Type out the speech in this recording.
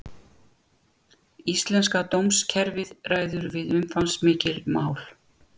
Dómurinn horfði til þess að Lára hafði innheimt aðgangseyri að fundunum.